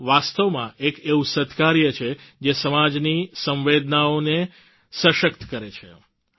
આ વાસ્તવમાં એક એવું સત્કાર્ય છે જે સમાજની સંવેદનાઓને સશક્ત કરે છે